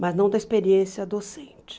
Mas não da experiência docente.